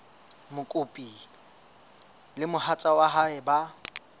mokopi le mohatsa hae ba